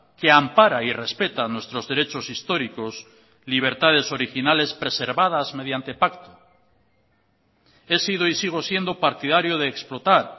que ampara y respeta nuestros derechos históricos libertades originales preservadas mediante pacto he sido y sigo siendo partidario de explotar